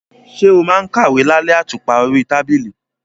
Ṣé o máa ń kàwé lálẹ́ àtùpà orí tábìlì?